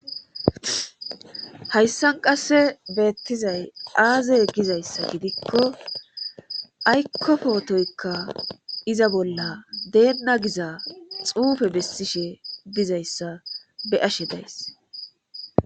Hayssan qasse beettizay aazey gizayssa gidikko aykkopootoykka iza bolla deenna giza xuufe bessishe bizayssa be ashe days